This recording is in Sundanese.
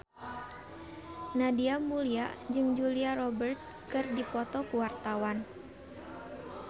Nadia Mulya jeung Julia Robert keur dipoto ku wartawan